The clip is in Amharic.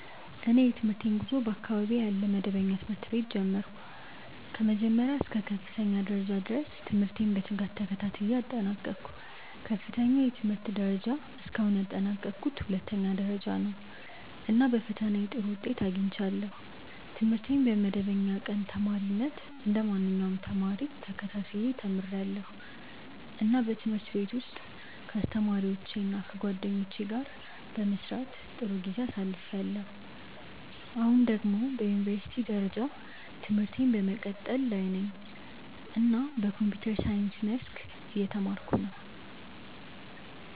እኔ የትምህርቴን ጉዞ በአካባቢዬ ያለ መደበኛ ትምህርት ቤት ጀመርሁ። ከመጀመሪያ እስከ ከፍተኛ ደረጃ ድረስ ትምህርቴን በትጋት ተከታትዬ አጠናቀቅሁ። ከፍተኛው የትምህርት ደረጃ እስካሁን ያጠናቀቅሁት ሁለተኛ ደረጃ ነው፣ እና በፈተናዬ ጥሩ ውጤት አግኝቻለሁ። ትምህርቴን በመደበኛ ቀን ተማሪነት እንደ ማንኛውም ተማሪ ተከታትዬ ተምርያለሁ፣ እና በትምህርት ቤት ውስጥ ከአስተማሪዎቼ እና ከጓደኞቼ ጋር በመስራት ጥሩ ጊዜ አሳልፍያለሁ። አሁን ደግሞ በዩኒቨርሲቲ ደረጃ ትምህርቴን በመቀጠል ላይ ነኝ እና በኮምፒውተር ሳይንስ መስክ እየተማርኩ ነው።